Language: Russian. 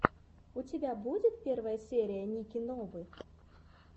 у тебя будет первая серия ники новы